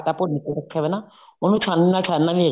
ਆਟਾ ਭੁੰਨ ਕੇ ਰੱਖਿਆ ਹੋਇਆ ਨਾ ਉਹਨੂੰ ਛਾਣਨੀ ਨਾਲ ਛਾਣਨਾ ਵੀ